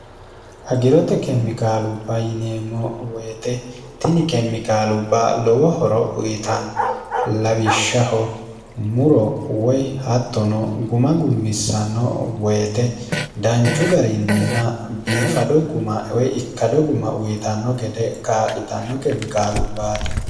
agirote kemikaalubba yineemmo woyite tini kemmikaalubba lowo horo uyitanno lawishshaho muro woy hattono guma gummissanno woyite danchu garinninna biifado gumwoy ikkado guma uyitanno gede kaa'litanno kemikaalubbaati